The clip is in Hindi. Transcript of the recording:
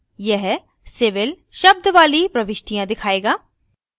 यह civil शब्द वाली प्रविष्टियाँ दिखायेगा